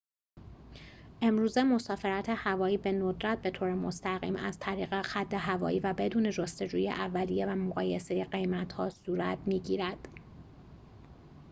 امروزه مسافرت هوایی به ندرت بطور مستقیم از طریق خط هوایی و بدون جستجوی اولیه و مقایسه قیمت‌ها صورت می‌گیرد